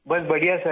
बस बढ़िया सर